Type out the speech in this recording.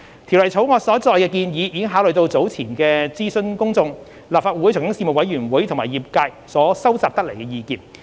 《條例草案》所載的建議已考慮到早前諮詢公眾、立法會財經事務委員會及業界所收集得來的意見。